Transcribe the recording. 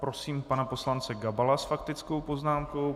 Prosím pana poslance Gabala s faktickou poznámkou.